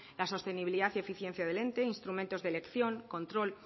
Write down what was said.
la sostenibilidad y eficiencia del ente instrumentos de elección control